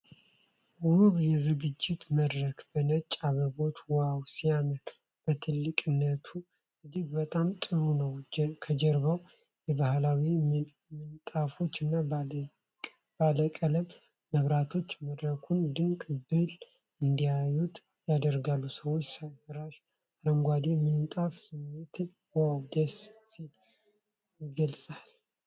ውብ የዝግጅት መድረክ በነጭ አበቦች ዋው ሲያምር! በትልቅነቱ እጅግ በጣም ጥሩ ነው። ከጀርባው የባህላዊ ምንጣፎች እና ባለቀለም መብራቶች መድረኩን ድንቅ ብሎ እንዲያዩት ያደርጋሉ። ሰው ሰራሽ አረንጓዴ ምንጣፍ ስሜቱ ዋው ደስ ሲል ይገልጻል።